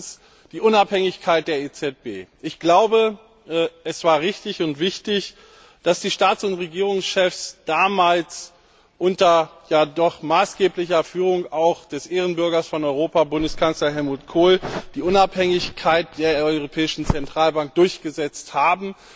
Erstens die Unabhängigkeit der EZB Ich glaube, es war richtig und wichtig, dass die Staats und Regierungschefs damals auch unter maßgeblicher Führung des Ehrenbürgers von Europa, Bundeskanzler Helmut Kohl, die Unabhängigkeit der Europäischen Zentralbank durchgesetzt haben.